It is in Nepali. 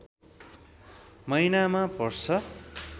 महिनामा पर्छ